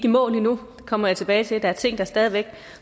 i mål endnu det kommer jeg tilbage til der er ting der stadig væk